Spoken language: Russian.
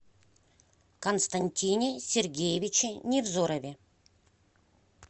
константине сергеевиче невзорове